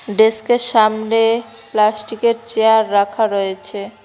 ডেস্কের সামনে প্লাস্টিকের চেয়ার রাখা রয়েছে।